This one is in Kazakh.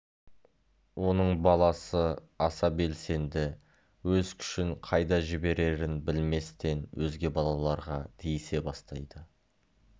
оның баласы аса белсенді өз күшін қайда жіберерін білместен өзге балаларға тиісе бастайды